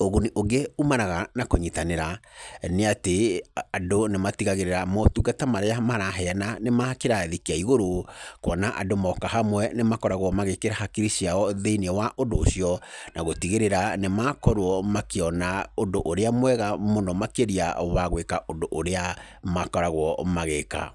ũguni ũngĩ umanaga na kũnyitanĩra, nĩ atĩ andũ nĩ matigagĩrĩra motungata marĩa maraheyana nĩ makĩrathi kĩa igũrũ, kuona andũ moka hamwe nĩ makoragwo magĩkĩra hakiri ciao thĩinĩ wa ũndũ ũcio, na gũtigĩrĩra nĩ makorwo makĩona ũndũ ũrĩa mwega mũno makĩria, wa gwĩka ũndũ ũrĩa makoragwo magĩka.